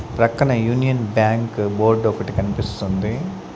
ప్రక్కన Union Bank board ఒకటి కనిపిస్తుంది.